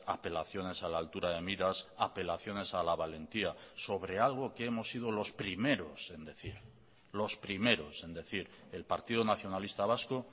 apelaciones a la altura de miras apelaciones a la valentía sobre algo que hemos sido los primeros en decir los primeros en decir el partido nacionalista vasco